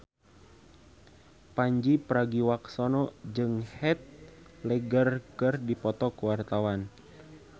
Pandji Pragiwaksono jeung Heath Ledger keur dipoto ku wartawan